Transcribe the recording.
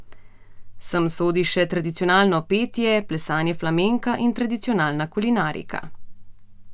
Sem sodi še tradicionalno petje, plesanje flamenka in tradicionalna kulinarika.